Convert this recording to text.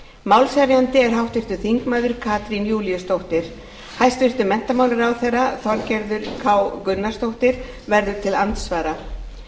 málshefjandi er háttvirtur þingmaður katrín júlíusdóttir hæstvirtur menntamálaráðherra þorgerður k gunnarsdóttir verður til andsvara